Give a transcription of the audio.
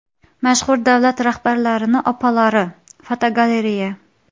Mashhur davlat rahbarlarining onalari (fotogalereya).